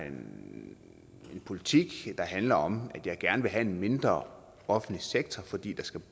en politik der handler om at jeg gerne vil have en mindre offentlig sektor fordi